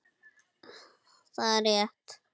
Það er rétt.